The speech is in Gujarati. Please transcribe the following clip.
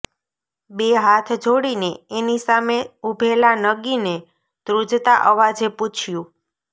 બે હાથ જોડીને એની સામે ઊભેલા નગીને ધ્રૂજતા અવાજે પૂછ્યું